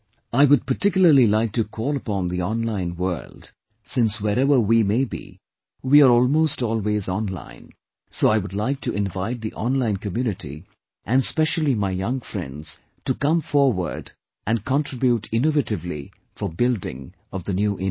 I would particularly like to call upon the online world, since wherever we may be, we are almost always online; so I would like to invite the online community and specially my young friends to come forward and contribute innovatively for building of the New India